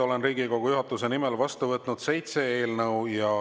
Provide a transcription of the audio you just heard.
Olen Riigikogu juhatuse nimel vastu võtnud seitse eelnõu.